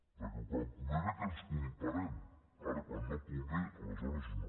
perquè quan convé bé que ens comparem ara quan no convé aleshores no